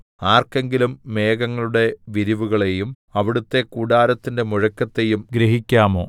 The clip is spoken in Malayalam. ആർക്കെങ്കിലും മേഘങ്ങളുടെ വിരിവുകളെയും അവിടുത്തെ കൂടാരത്തിന്റെ മുഴക്കത്തെയും ഗ്രഹിക്കാമോ